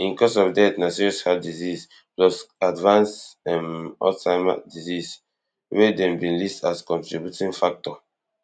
in cause of death na sees heart disease plus advanced um alzheimer disease wey dem bin list as contributing factor